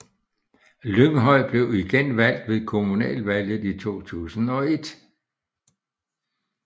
Lynghøj blev igen valgt ved kommunalvalget i 2001